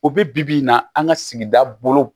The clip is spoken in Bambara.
O bi bi in na an ka sigida bolo